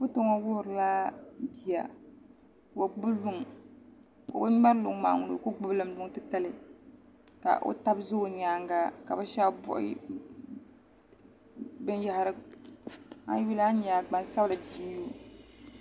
Foto ŋo wuhurila bia ka o gbubi luŋ o bi ŋmɛri luŋ maa ŋuna o ku gbubilimi luŋ titali ka o tab ʒɛ o nyaanga ka bi shab buɣi binyahari a yuli a ni nyɛ gbaŋsabili bia n nyɛo